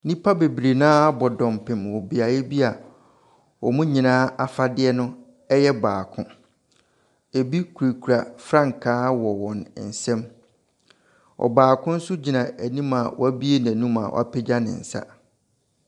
Nnipa bebree no ara abɔ dɔmpem wɔ beaeɛ bi a wɔn nyinaa afadeɛno yɛ baako. Ɛbi kurakura frankaa wɔ wɔn nsam. Ɔbaako nso gyina anim a wabue n'anum a wapagya ne nsa.